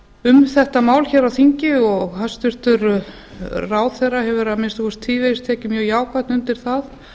um þetta mál hér á þingi og hæstvirtur ráðherra hefur að minnsta kosti tvívegis tekið mjög jákvætt undir það